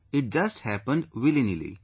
It just happened willynilly